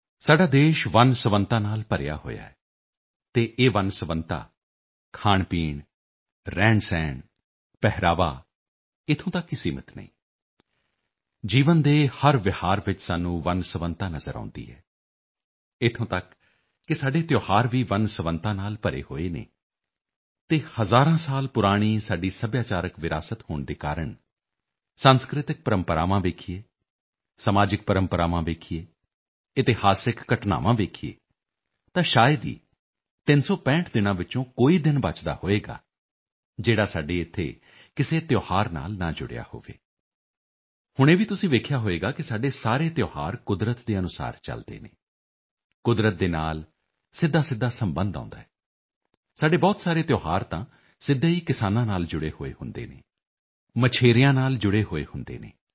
ਸਾਡਾ ਦੇਸ਼ ਵੰਨਸੁਵੰਨਤਾ ਨਾਲ ਭਰਿਆ ਹੋਇਆ ਹੈ ਅਤੇ ਇਹ ਵੰਨਸੁਵੰਨਤਾ ਖਾਣਪੀਣ ਰਹਿਣਸਹਿਣ ਪਹਿਰਾਵਾ ਇੱਥੋਂ ਤੱਕ ਹੀ ਸੀਮਿਤ ਨਹੀਂ ਹਨ ਜੀਵਨ ਦੇ ਹਰ ਵਿਹਾਰ ਵਿੱਚ ਸਾਨੂੰ ਵੰਨਸੁਵੰਨਤਾ ਨਜ਼ਰ ਆਉਦੀ ਹੈ ਇੱਥੋਂ ਤੱਕ ਕਿ ਸਾਡੇ ਤਿਓਹਾਰ ਵੀ ਵੰਨਸੁਵੰਨਤਾ ਨਾਲ ਭਰੇ ਹੋਏ ਹਨ ਅਤੇ ਹਜ਼ਾਰਾਂ ਸਾਲ ਪੁਰਾਣੀ ਸਾਡੀ ਸੱਭਿਆਚਾਰਕ ਵਿਰਾਸਤ ਹੋਣ ਦੇ ਕਾਰਣ ਸਾਂਸਕ੍ਰਿਤਕ ਪ੍ਰੰਪਰਾਵਾਂ ਵੇਖੀਏ ਸਮਾਜਿਕ ਪ੍ਰੰਪਰਾਵਾਂ ਵੇਖੀਏ ਇਤਿਹਾਸਕ ਘਟਨਾਵਾਂ ਵੇਖੀਏ ਤਾਂ ਸ਼ਾਇਦ ਹੀ 365 ਦਿਨਾਂ ਵਿੱਚੋਂ ਕੋਈ ਦਿਨ ਬਚਦਾ ਹੋਵੇਗਾ ਜਿਹੜਾ ਸਾਡੇ ਇੱਥੇ ਕਿਸੇ ਤਿਓਹਾਰ ਨਾਲ ਨਾ ਜੁੜਿਆ ਹੋਵੇ ਹੁਣ ਇਹ ਵੀ ਤੁਸੀਂ ਵੇਖਿਆ ਹੋਵੇਗਾ ਕਿ ਸਾਡੇ ਸਾਰੇ ਤਿਓਹਾਰ ਕੁਦਰਤ ਦੇ ਅਨੁਸਾਰ ਚਲਦੇ ਹਨ ਕੁਦਰਤ ਦੇ ਨਾਲ ਸਿੱਧਾਸਿੱਧਾ ਸਬੰਧ ਆਉਂਦਾ ਹੈ ਸਾਡੇ ਬਹੁਤ ਸਾਰੇ ਤਿਓਹਾਰ ਤਾਂ ਸਿੱਧੇ ਹੀ ਕਿਸਾਨਾਂ ਨਾਲ ਜੁੜੇ ਹੋਏ ਹੁੰਦੇ ਹਨ ਮਛੇਰਿਆਂ ਨਾਲ ਜੁੜੇ ਹੋਏ ਹੁੰਦੇ ਹਨ